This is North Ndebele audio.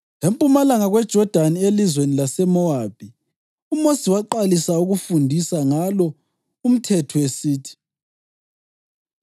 Empumalanga kweJodani elizweni laseMowabi, uMosi waqalisa ukufundisa ngalo umthetho, esithi: